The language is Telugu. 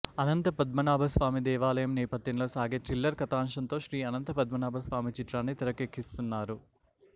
అనంత పద్మనాభస్వామి దేవాలయం నేపథ్యంలో సాగే థ్రిల్లర్ కథాంశంతో శ్రీ అనంత పద్మనాభస్వామి చిత్రాన్ని తెరకెక్కిస్తున్నారు